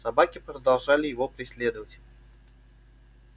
собаки продолжали его преследовать